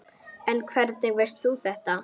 En hvernig veist þú þetta?